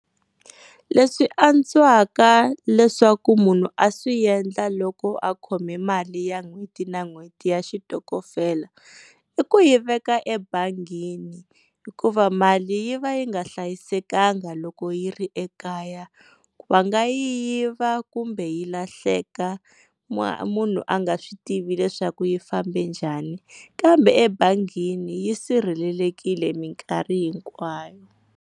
Leswi antswaka leswaku munhu a swi endla loko a khome mali ya n'hweti na n'hweti ya xitokofela i ku yi veka ebangini hikuva mali yi va yi nga hlayisekanga loko yi ri ekaya va nga yi yiva kumbe yi lahleka munhu a nga swi tivi leswaku yi fambe njhani kambe ebangini yi sirhelelekile minkarhi hinkwayo.